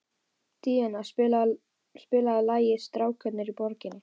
Díanna, spilaðu lagið „Strákarnir á Borginni“.